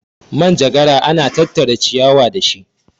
manjagara ana tattara ciyawa da shi